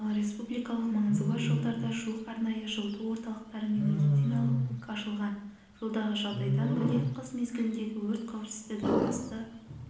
ал республикалық маңызы бар жолдарда жуық арнайы жылыту орталықтары мен медициналық пункт ашылған жолдағы жағдайдан бөлек қыс мезгіліндегі өрт қауіпсіздігі басты